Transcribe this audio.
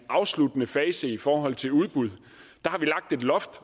afsluttende fase i forhold til udbud har vi lagt et loft